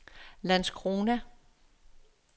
Landskrona